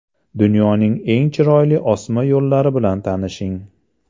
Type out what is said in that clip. Dunyoning eng chiroyli osma yo‘llari bilan tanishing .